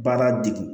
Baara degu